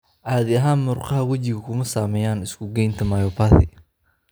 Caadi ahaan murqaha wejigu kuma saameeyaan isu geynta myopathy.